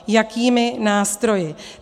Jakými nástroji.